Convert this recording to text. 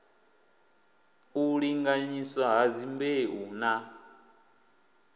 u linganyiswa ha dzimbeu na